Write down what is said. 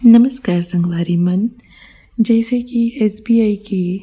नमस्कार संगवारी मन जैसे की एस बी आई के--